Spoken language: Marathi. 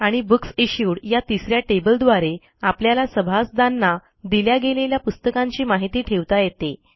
आणि बुकसिश्यूड या तिस या टेबलद्वारे आपल्याला सभासदांना दिल्या गेलेल्या पुस्तकांची माहिती ठेवता येते